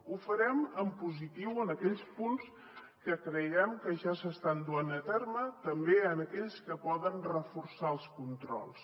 ho farem en positiu en aquells punts que creiem que ja s’estan duent a terme també en aquells que poden reforçar els controls